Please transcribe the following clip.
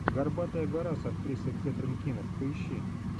горбатая гора с актрисой кэтрин кинер поищи